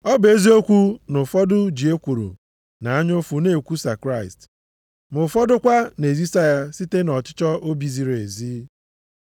Ọ bụ eziokwu na ụfọdụ ji ekworo na anya ụfụ na-ekwusa Kraịst, ma ụfọdụ kwa na-ezisa ya site nʼọchịchọ obi ziri ezi.